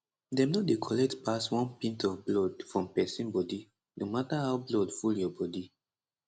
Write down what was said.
dem no dey collect pass one pint of blood from pesin body no mata how blood full your bodi